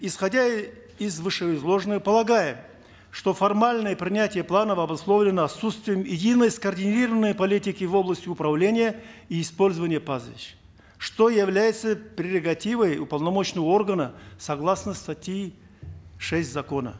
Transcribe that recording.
исходя из вышеизложенного полагаем что формальное принятие планов обусловлено отсутствием единой скоординированной политики в области управления и использования пастбищ что является прерогативой уполномоченного органа согласно статьи шесть закона